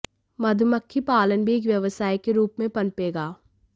मधमक्खी पालन भी एक व्यवसाय के रूप में पनपेगा